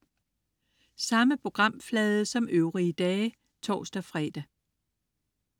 Samme programflade som øvrige dage (tors-fre)